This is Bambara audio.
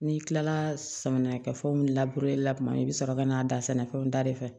N'i kilala samiya kɛ fɛnw labure la tuma min i bi sɔrɔ ka n'a da sɛnɛfɛnw da de fɛ